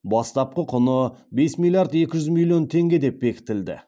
бастапқы құны бес миллиард екі жүз миллион теңге деп бекітілді